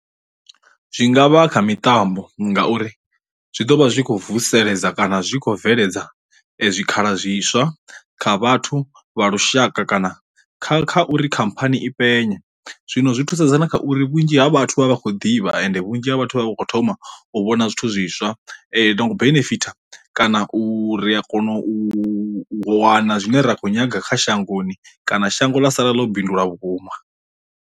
Zwi ngavha kha miṱambo ngauri zwi ḓo vha zwi khou vuseledza kana zwi khou bveledza zwikhala zwiswa kha vhathu vha lushaka kana kha kha uri khamphani i penye, zwino zwi thusedza na kha uri vhunzhi ha vhathu vha vha khou ḓivha ende vhunzhi ha vhathu vha vha vho thoma u vhona zwithu zwiswa no benefitha kana u ri a kona u wana zwine ra khou nyaga kha shangoni kana shango ḽa sala ḽo bindula vhukuma.